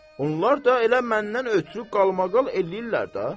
Onlar da elə məndən ötrü qalmaqal eləyirlər də.